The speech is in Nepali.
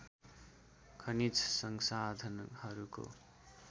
खनिज संसाधनहरूको